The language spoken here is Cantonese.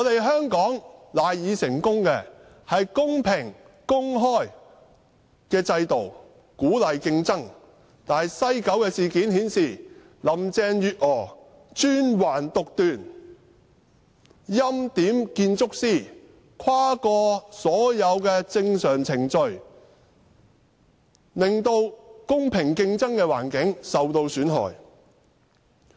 香港賴以成功的是公平、公開的制度，鼓勵競爭，但西九事件卻顯示，林鄭月娥專橫獨斷，欽點建築師，跨過所有正常程序，令公平競爭的環境受到損害。